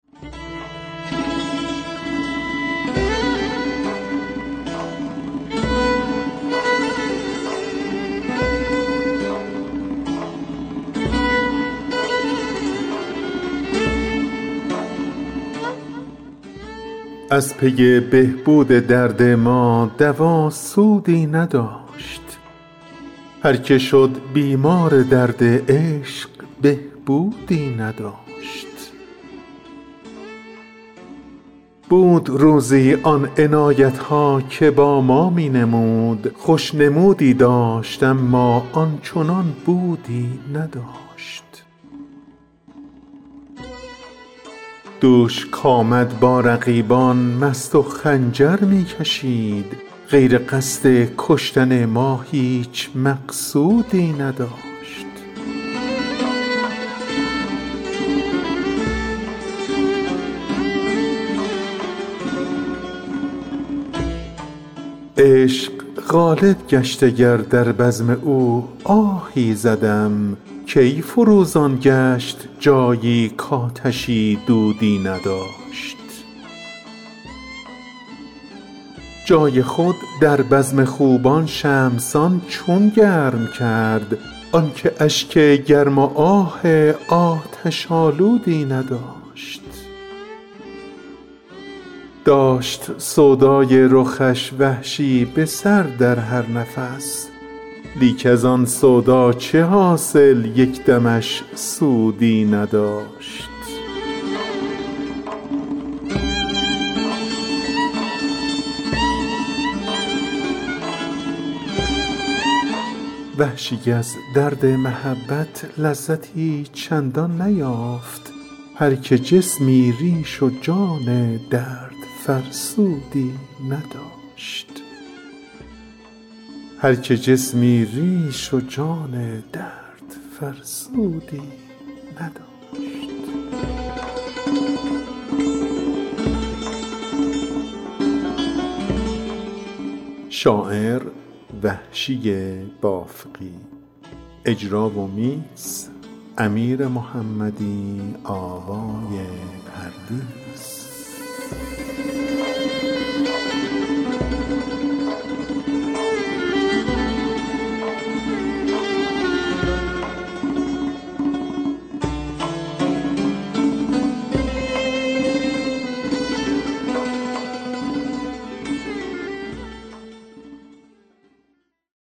از پی بهبود درد ما دوا سودی نداشت هرکه شد بیمار درد عشق بهبودی نداشت بود روزی آن عنایت ها که با ما می نمود خوش نمودی داشت اما آنچنان بودی نداشت دوش کـآمد با رقیبان مست و خنجر می کشید غیر قصد کشتن ما هیچ مقصودی نداشت عشق غالب گشت اگر در بزم او آهی زدم کی فروزان گشت جایی کـآتشی دودی نداشت جای خود در بزم خوبان شمع سان چون گرم کرد آنکه اشک گرم و آه آتش آلودی نداشت داشت سودای رخش وحشی به سر در هر نفس لیک از آن سودا چه حاصل یک دمش سودی نداشت وحشی از درد محبت لذتی چندان نیافت هرکه جسمی ریش و جان دردفرسودی نداشت